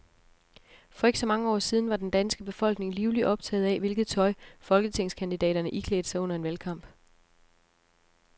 For ikke så mange år siden var den danske befolkning livligt optaget af, hvilket tøj folketingskandidaterne iklædte sig under en valgkamp.